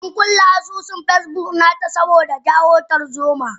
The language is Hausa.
Ankulle asusun Facebook nata saboda jawo tarzoma.